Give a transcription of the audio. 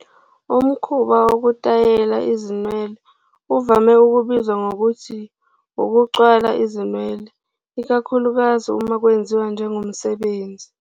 Umkhuba wokutayela izinwele uvame ukubizwa ngokuthi "ukucwala izinwele", ikakhulukazi uma kwenziwa njengomsebenzi.